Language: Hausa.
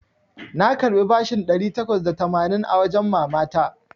Na karɓi bashin ɗari takwas da tamanin a wajen mama ta.